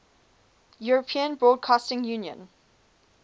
european broadcasting union